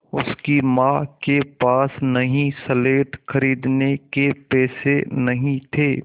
उसकी माँ के पास नई स्लेट खरीदने के पैसे नहीं थे